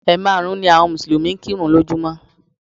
Ẹ̀ maàrún ni àwọn Mùsùlùmí ń kírun lójúmọ́